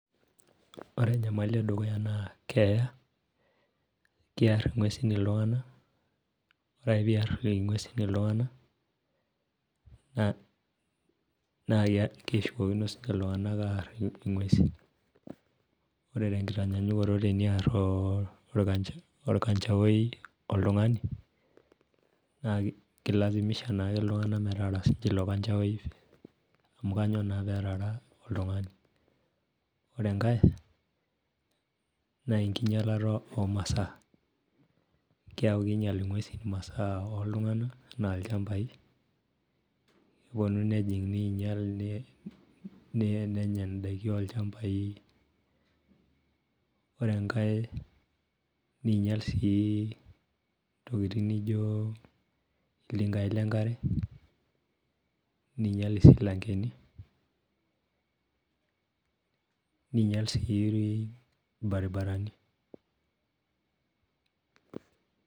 Ore enyamali edukuya naa keya, kiar ing'uesin iltung'anak. Ore ake piar ing'uesin iltung'anak, na keshukokino sinche iltung'anak aar ing'uesin. Ore tenkinyanyukoto eniar orkanchao oltung'ani, naa kilasimisha naake iltung'anak metaara sinye ilo kanchao. Amu kanyioo naa petara oltung'ani. Ore enkae, nenkinyalata omasaa. Keku kinyal ing'uesin imasaa oltung'anak enaa ilchambai, keponu nejing ninyal nenya daiki olchambai. Ore enkae ninyal si ntokiting nijo iltinkai lenkare, ninyal isilankeni. Ninyal si irbaribarani.